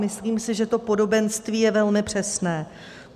Myslím si, že to podobenství je velmi přesné.